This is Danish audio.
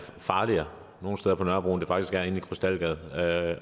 farligere nogle steder på nørrebro end det faktisk er inde i krystalgade